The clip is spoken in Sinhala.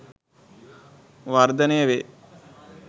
වර්ධනය වේ.